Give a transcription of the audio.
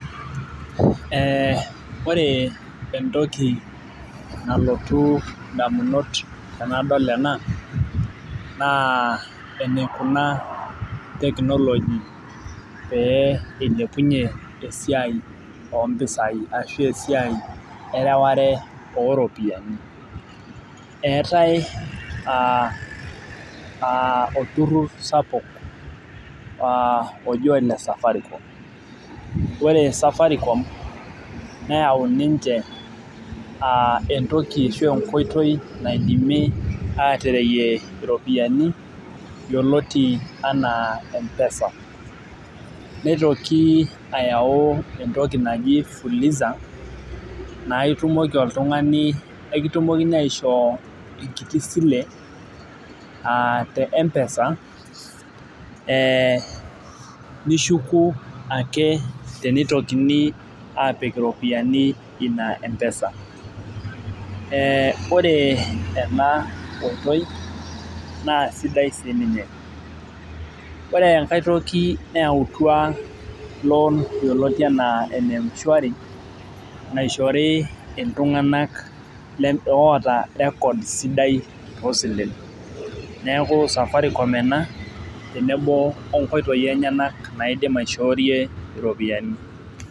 Ee ore entoki nalotu damunot tenadol ena naa enaikuna technology pee eilepunye esiai oo mpisai ashu esiai erereware ooropiyiani. eetae aa olturur sapuk oji ole safaricom, ore safaricom neyau ninche entoki ashu enkoitoi naidimi aatereyie iropiyiani yioloti anaa empesa. neitoki ayau entoki naji fuliza naa itumoki oltungani ekitumokini aishoo enkiti sile aa te mpesa ee nishuku ake teneitokini aapik iropiyiani Ina empesa .ore ena oitoii naa sidai sii ninye. ore enkae toki nayautua loan yioloti anaa ene mshwari. naishori iltunganak oota record sidai oosilen. neeku safaricom ena tenebo onkoitoi enyenak naidim aishorie iropiyiani.